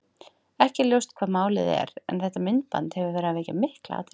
Ekki er ljóst hvað málið er en þetta myndband hefur verið að vekja mikla athygli.